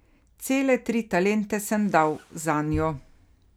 Cele tri talente sem dal zanjo.